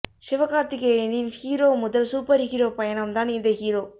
சிவகார்த்திகேயனின் hero முதல் super hero பயனம் தான் இந்த ஹீரோ